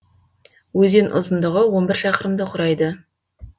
өзен ұзындығы он бір шақырымды құрайды